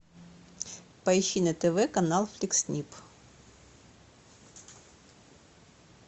поищи на тв канал фликс снип